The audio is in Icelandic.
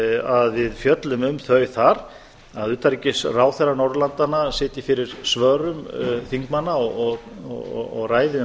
að við fjöllum um þau þar að utanríkisráðherrar norðurlandanna sitji fyrir svörum þingmanna og ræði um